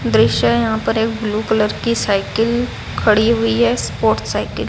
दृश्य है यहां पर एक ब्लू कलर की साइकिल खड़ी हुई है स्पोर्ट्स साइकिल ।